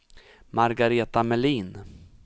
Margareta Melin